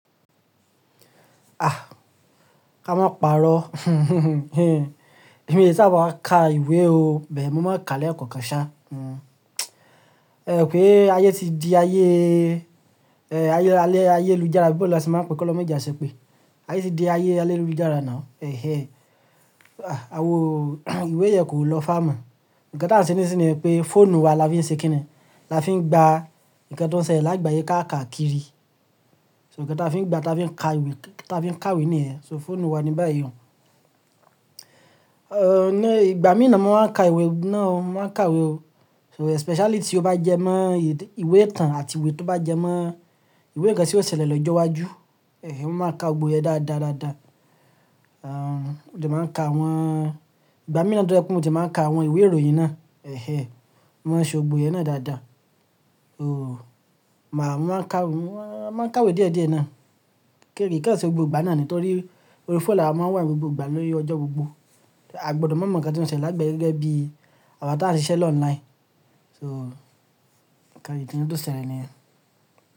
Ah! Ka má pa'rọ. Èmi é sáàbà máa ka ìwé o, but mo máa ka lẹ́ẹ̀kọ̀kan ṣá. Hmm. Ẹ pé ayé ti di ayé, ẹ, ayé alẹ́, ayélujára abí bo le ṣe máa ń pè kí ọlọ́run maa je a ṣepè. Ayé ti di ayé alélujára now. Ẹ̀hẹ́. Ah! Awo ìwé yẹn kò lọ fámọ̀. Ǹkan tí à ń ṣe nísìnyí ni pé fóònù wa la fi ń ṣe kíni, la fi ń gba ǹkan tó ń ṣẹlẹ̀ lágbàyé káàkà kiri. So ǹkan ta fi ń gba, ta fi ń ka ìwé, tafi ń kàwé nìyẹn. So fóònù wa ni báyì o. Ẹ̀, ní ìgbà mí nàá mo máa ń ka ìwé náà o, mo máa ń kàwé o. So speciality ó bá jẹ mọ́ ìwé ìtàn àti ìwé tó bá jẹ mọ́ ìwé ǹkan tí ó ṣẹlẹ̀ lọ́jọ́ iwájú, ẹ́hẹ́, mo máa ka ògbó yẹn dádá dáadáa. Aah, mo jẹ máa ń ka àwọn-- ìgbà mí nàá dúnlẹ́ pé mo dẹ máa ń ka àwọn ìwé ìròyìn náà. Ẹ̀hẹ́. Mo máa ṣe ògbó yẹn náà dádá. Ooh, màá, mo máa ń ka, mo máa ń kàwé díẹ̀ díẹ̀ ná. Kérìkẹ́ ò ṣe ògbó ìgbà náà ni nítorí orí fóònù la máa ń wà gbogbo ìgbà lórí ọjọ́ gbogbo. A gbọdọ̀ mọ mo ǹkan tí ó ń ṣẹlẹ̀ lágbàyé gẹ́gẹ́ bí àwọn tá ń ṣiṣẹ́ ló online. So ìkan ikan to tó ṣẹlẹ̀ nìyẹn.